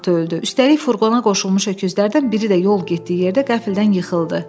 Üstəlik furqona qoşulmuş öküzlərdən biri də yol getdiyi yerdə qəflədən yıxıldı.